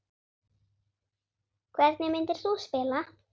Hvernig myndir þú spila?